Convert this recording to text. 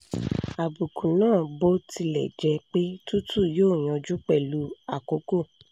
àbùkù náà bó tilẹ̀ jẹ́ pé tútù yóò yanjú pẹ̀lú àkókò